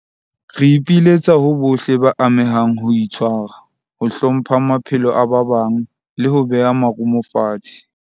Re ipiletsa ho bohle ba amehang ho itshwara, ho hlompha maphelo a ba bang, leho beha marumo fatshe.